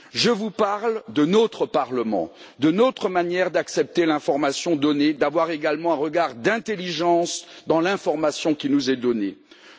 Je vous parle de notre Parlement, de notre manière d'accepter l'information donnée, d'avoir également un regard d'intelligence dans l'information qui nous est fournie.